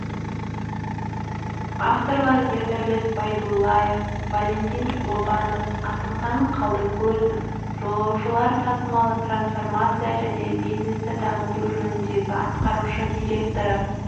авторлары ердәулет байдуллаев валентин лобанов асылхан қалдыкөзов жолаушылар тасымалы трансформация және бизнесті дамыту жөніндегі атқарушы директоры